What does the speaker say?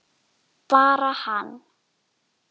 Bara hann?